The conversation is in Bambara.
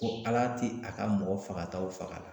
Ko Ala ti a ka mɔgɔ fagataw faga